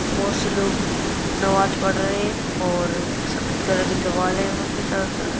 बहुत से लोग नमाज पढ़ रहें हैं और सफ़ेद कलर की दिवाल है यहाँ पे चारो तरफ।